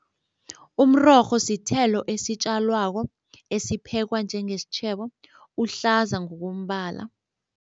Umrorho sithelo esitjalwako esiphekwa njengesitjhebo, uhlaza ngokombala.